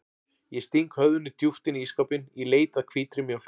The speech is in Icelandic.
Ég sting höfðinu djúpt inn í ísskápinn í leit að hvítri mjólk.